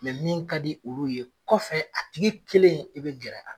min ka di olu ye kɔfɛ a tigi kelen i bɛ gɛrɛ a